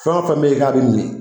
Fɛn o fɛn bɛ yen k'a bɛ min